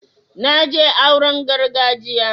na je auren gargajiya